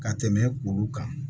Ka tɛmɛ olu kan